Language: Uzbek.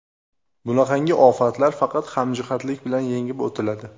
Bunaqangi ofatlar faqat hamjihatlik bilan yengib o‘tiladi.